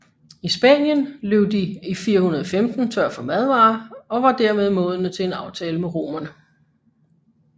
I Spanien løb de i 415 tør for madvarer og var dermed modne til en aftale med romerne